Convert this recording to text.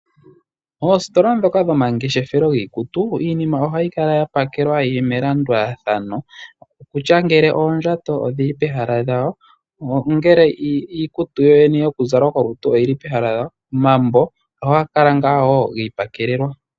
Oositola dhoka dhomangeshefelo lyiikutu iinima oha yi kala yapakelwa yili melanduthano, okutya ngele oondjato odhili pehala lyawo, nongele iikutu yoyene yokuzala kolutu oyili pehala lyawo. Omambo ohaga kala ngaa giipakelelwa.